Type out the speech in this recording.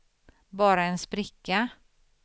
bara en spricka